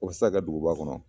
O ti sa kɛ duguba kɔnɔ